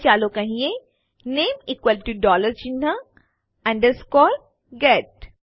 હવે ચાલો કહીએ નેમ ઇકવલ ટુ ડોલર ચિહ્ન અન્ડરસ્કૉર ગેટ